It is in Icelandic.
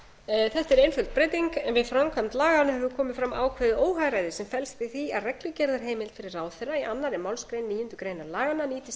tíu þetta er einföld breyting en við framkvæmd laganna hefur komið fram ákveðið óhagræði sem felst í því að reglugerðarheimild fyrir ráðherra í annarri málsgrein níundu grein laganna nýtist